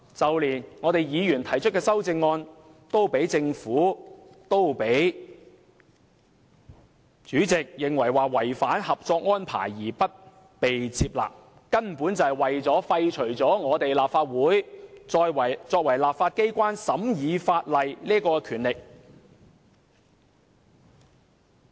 就連議員提出的修正案都被政府、主席認為是違反《合作安排》，因而不被接納，那根本就是為了廢除立法會作為立法機關審議法例的權力。